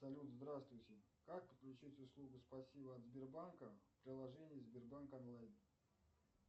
салют здравствуйте как подключить услугу спасибо от сбербанка в приложении сбербанк онлайн